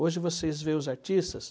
Hoje vocês veem os artistas...